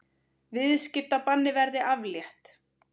Viðskiptabanni verði aflétt